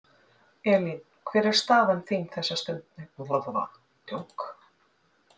Elín, hver er staðan þessa stundina?